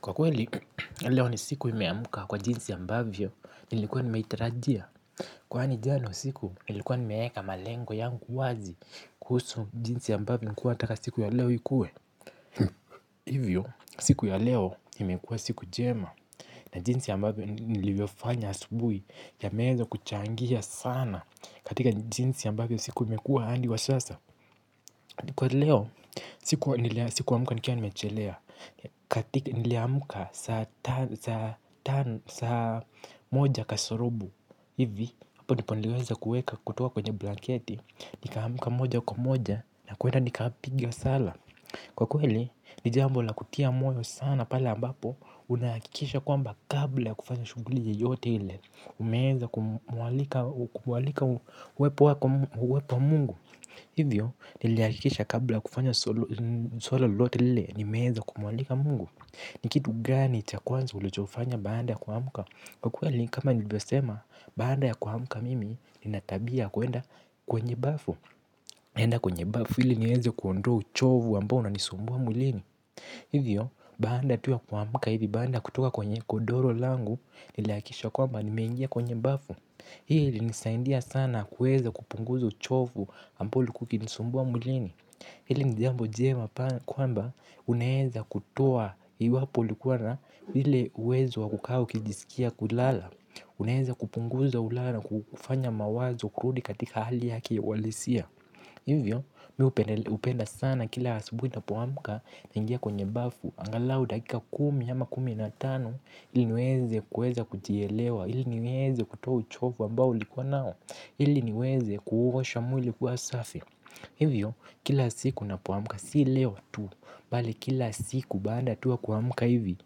Kwa kweli, leo ni siku imeamuka kwa jinsi ya mbavyo nilikuwa nimaitarajia. Kwani jana usiku, nilikuwa nimeeka malengo yangu wazi kuhusu jinsi ambavyo nikuwa nataka siku ya leo ikue. Hivyo, siku ya leo imekuwa siku jema. Na jinsi ya mbavyo nilivyofanya asubui ya meza kuchangia sana katika jinsi ya mbavyo siku imekuwa hadi wa sasa. Kwa leo, siku amuka nikia nimechelea, katika niliamuka sa moja kasorubu, hivi, hapo nipo niliweza kueka kutuwa kwenye blanketi, nikamuka moja kumoja, na kuwenda nikapige msala. Kwa kweli, nijambo la kutia moyo sana pale ambapo, unakikisha kwamba kabla kufanya shuguli yote hile, umeza kumwalika uwepo wa mungu. Hivyo niliakisha kabla kufanya solo lote lile ni meheza kumwalika mungu Nikitu gani cha kwanza ulechofanya baada ya kuhamuka Kwakweli kama nilivyosema baada ya kuhamuka mimi ninatabia kuenda kwenye bafu Nenda kwenye bafu hili nyeze kuondoa uchovu ambao na nisumbua mulini Hivyo baada tu ya kuhamuka hivi baada kutoka kwenye godoro langu niliakisha kwa mba nimeingia kwenye bafu Hii ili nisaindia sana kuweza kupunguza uchofu ambao ulikua kukinisumbua mulini Hili nijambo jema kwamba unaeza kutoa iwapo likuwa na hile uwezo wakukaa ukijisikia kulala Uneza kupunguza ulala kufanya mawazo kurudi katika hali yaki walisia Hivyo miupenda sana kila hasubuni na poamuka na ingia kwenye bafu angalau dakika kumi ama kumi na tan Iliniweze kuweza kujielewa, iliniweze kutua uchofu ambao likuwa nao Iliniweze kuhuhosha mwili kuwasafi Hivyo, kila siku napoamuka, si leo tu bali kila siku baada tuwa kuamuka hivi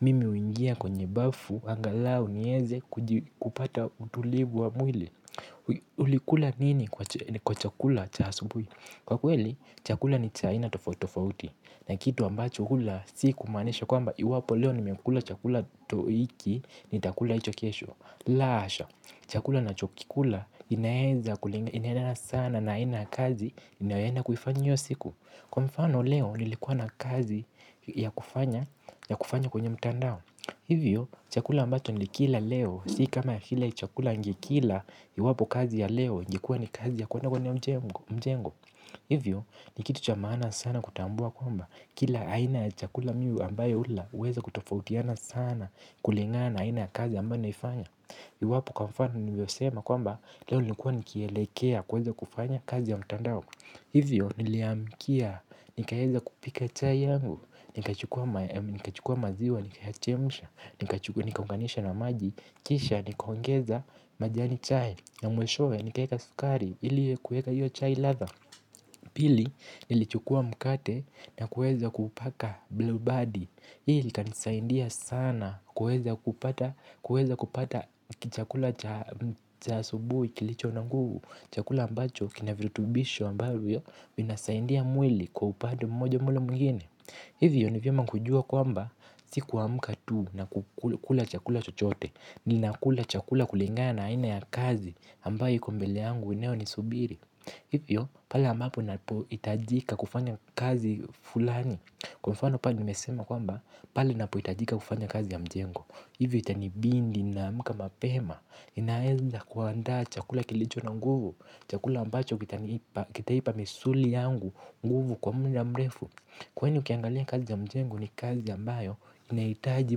Mimi uingia kwenye bafu, angalau nieze kupata utulivu wa mwili Ulikula nini kwa chakula chasubui Kwa kweli, chakula ni chaina tofautofauti na kitu ambacho hula si kumanisha kwa mba iwapo leo ni mekula chakula toiki ni takula ito kesho la asha, chakula na chokikula inayeza kulinga inayendana sana na ina kazi inayena kufanya nyo siku Kwa mfano leo ni likuwa na kazi ya kufanya kwenye mtandao Hivyo chakula ambacho ni likila leo si kama hile chakula ngekila iwapo kazi ya leo ngekua ni kazi ya kuwana kwenye mjengo Hivyo ni kitu chamana sana kutambua kwamba kila aina ya chakula miu ambayo ula uweza kutofautiana sana kulingana aina ya kazi ambayo naifanya Iwapo kwa mfano ni mbio sema kwamba leo nikua nikielekea kuweza kufanya kazi ya mtandao Hivyo niliamkia nikayeza kupika chai yangu, nikachukua maziwa, nikachemusha, nikakunganisha na maji Kisha nikohongeza majani chai na mwishoe nikaheka sukari ili kueka yu chai ladha Pili nilichukua mkate na kueza kupaka blue body Hii ilikanisaindia sana kueza kupata kichakula chasubuhi ikilicho na nguvu Chakula ambacho kina virutubisho ambayo yu Minasaindia mwili kwa upande mmoja mwole mgini Hivyo nivyema kujua kwamba sikuwa mkatu na kukula chakula chochote Ninakula chakula kulingana ina ya kazi ambayo yuko mbele angu inayo ni subiri Hivyo pale ambapo itajika kufanya kazi fulani Kwa mfano pa ni mesema kwamba pale napo itajika kufanya kazi ya mjengo Hivyo itanibindi na muka mapema inaeza kuanda chakula kilicho na nguvu Chakula ambacho kitanipa kitaipa misuli yangu nguvu kwa mda mrefu Kwa hini ukiangalia kazi ya mjengo ni kazi ambayo inaitaji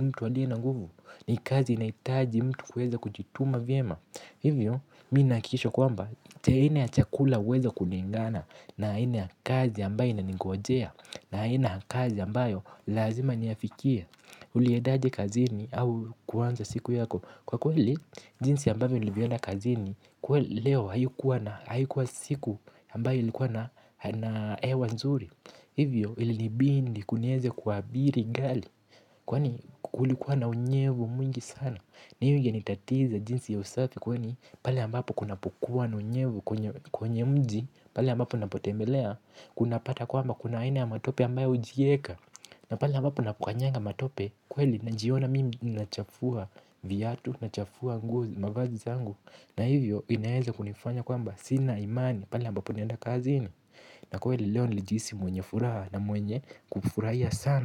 mtu aliye na nguvu ni kazi inaitaji mtu kuweza kujituma vyema Hivyo, minakisha kwamba, te ina ya chakula weza kuningana na ina ya kazi ambayo inanigojea na ina ya kazi ambayo lazima niyafikia Huliedaje kazini au kuwanza siku yako, kwa kweli, jinsi ambayo ilivyona kazini, kwa leo hayukua siku ambayo ilikuwa na ewa nzuri Hivyo, ilinibindi kunieze kuabiri gali, kwa hulikuwa na unyevu mwingi sana na hiyo genitatiza jinsi ya usafi kweni pala ambapo kunapukua naunyevu kwenye mji pale ambapo napotembelea kunapata kwa amba kunaina ya matope ambayo ujieka na pala ambapo napukanyanga matope kweli najiona mimi nachafuwa viyatu nachafuwa mavazi zangu na hiyo inaeza kunifanya kwa amba sina imani pala ambapo nenda kazi ini na kweli leo nilijisi mwenye furaha na mwenye kufurahia sana.